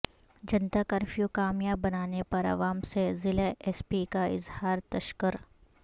جنتا curfew کامیاب بنانے پر عوام سے ضلع ایس پی کا اظہار تشکر